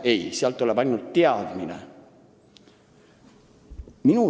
Ei!